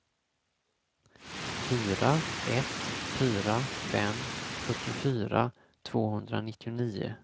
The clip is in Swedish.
fyra ett fyra fem fyrtiofyra tvåhundranittionio